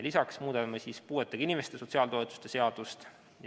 Lisaks muudame puuetega inimeste sotsiaaltoetuste seadust.